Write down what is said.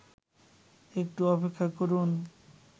একটু অপেক্ষা করুন